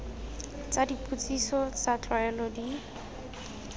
tsa dipotsiso tsa tlwaelo di